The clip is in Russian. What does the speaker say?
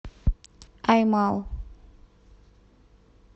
аймал